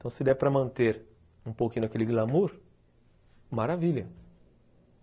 Então se der para manter um pouquinho daquele glamour, maravilha.